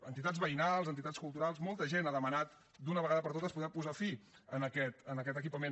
entitats veïnals entitats culturals molta gent ha demanat d’una vegada per totes poder posar fi a aquest equipament